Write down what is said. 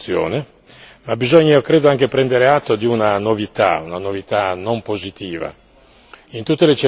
hanno avuto questa funzione, ma bisogna, io credo anche prendere atto di una novità, una novità non positiva.